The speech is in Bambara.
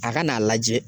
A ka n'a lajɛ